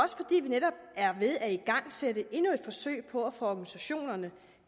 netop er ved at igangsætte endnu et forsøg på at få organisationerne